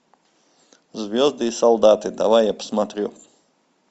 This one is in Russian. звезды и солдаты давай я посмотрю